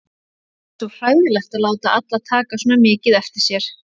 Það er svo hræðilegt að láta alla taka svona mikið eftir sér.